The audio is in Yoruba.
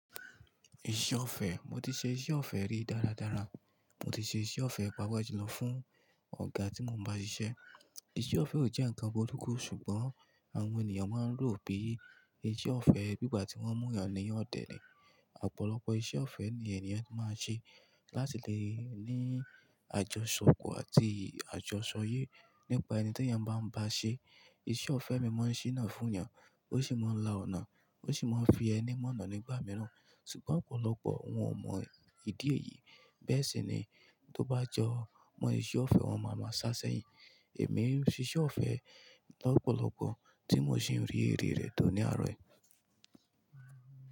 Iṣẹ́ ọ̀fẹ́, mo ti ṣe iṣẹ́ ọ̀fẹ́ rí dára dára, mo ti ṣe iṣẹ́ ọ̀fẹ́ pàápàá julo fún ọ̀gá tí mo ń bá ṣiṣẹ́. Iṣẹ́ ọ̀fẹ́ ò jẹ́ nǹkan gbólógun ṣùgbọ́n àwọn ènìyàn máa ń rò bii iṣẹ́ ọ̀fẹ́ bí ìgbà tí wọ́n mú yàn dẹ̀ ni. Ọ̀pọ̀lọpọ̀ iṣẹ́ ọ̀fẹ́ ni ènìyàn máa ń ṣe láti lè ní àjọṣọ kú àti àjọṣọ yé nípa ẹni t'eyàn báa ń bá ṣe e. Iṣẹ́ ọ̀fẹ́ mi máa ń ṣíná fún yàn, ó sì máa ń la ọ̀nà, ó sì máa ń fi ẹni mọ̀nà nígbà mìíràn. Ṣùgbọ́n ọ̀pọ̀lọpọ̀ wọ́n ò mọ ìdí èyí. Bẹ́ẹ̀ sì ni tó bá jọ, mo iṣẹ́ ọ̀fẹ́ wọn máa máa ṣáṣẹyìn. Èmi ń ṣe iṣẹ́ ọ̀fẹ́ lọ́pọ̀lọpọ̀ tí mo sì ń rí èrè rẹ̀ tó ní àárọ̀ ẹ.